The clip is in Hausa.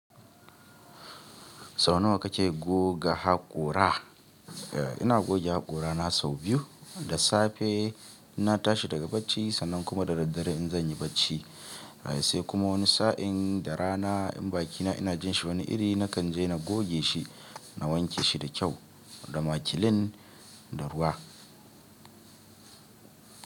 Sau nawa kake goga haƙora? E, ina goge haƙora na sau biyu, da safe ina tashi daga bacci sannan kuma da daddare in zan yi bacci. Sai kuma wani sa'in da rana in bakina ina jin shi wani iri, na kan je na goge shi, na wanke shi da kyau da makilin da ruwa.